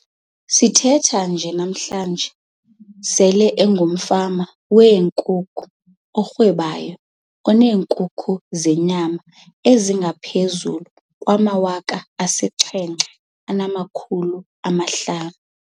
Sithetha nje namhlanje, sele engumfama wenkukhu orhwebayo oneenkukhu zenyama ezingaphezulu kwama-7 500.